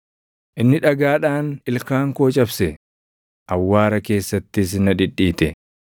Inni dhagaadhaan ilkaan koo cabse; awwaara keessattis na dhidhiite.